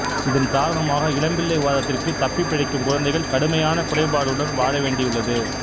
இதன் காரணமாக இளம்பிள்ளை வாதத்திற்குத் தப்பிப் பிழைக்கும் குழந்தைகள் கடுமையான குறைபாடுகளுடன் வாழவேண்டியுள்ளது